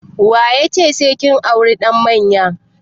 Wa ya ce sai kin auri ɗan maye?